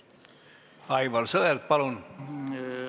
Aivar Sõerd, palun!